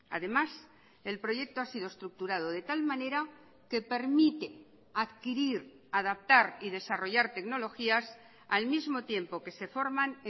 además el proyecto ha sido estructurado de tal manera que permite adquirir adaptar y desarrollar tecnologías al mismo tiempo que se forman